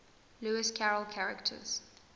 lewis carroll characters